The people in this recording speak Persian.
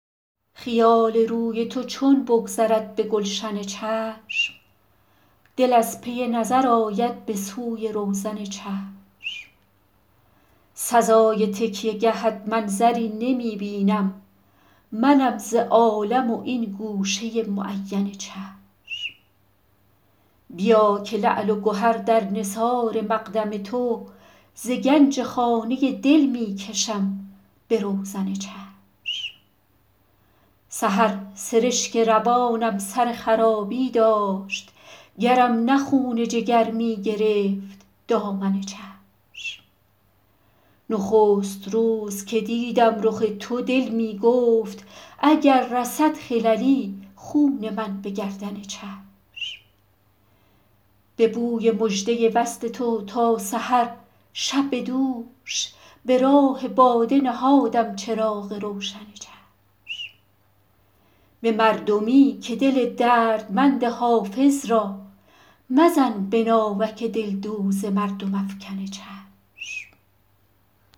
خیال روی تو چون بگذرد به گلشن چشم دل از پی نظر آید به سوی روزن چشم سزای تکیه گهت منظری نمی بینم منم ز عالم و این گوشه معین چشم بیا که لعل و گهر در نثار مقدم تو ز گنج خانه دل می کشم به روزن چشم سحر سرشک روانم سر خرابی داشت گرم نه خون جگر می گرفت دامن چشم نخست روز که دیدم رخ تو دل می گفت اگر رسد خللی خون من به گردن چشم به بوی مژده وصل تو تا سحر شب دوش به راه باد نهادم چراغ روشن چشم به مردمی که دل دردمند حافظ را مزن به ناوک دلدوز مردم افکن چشم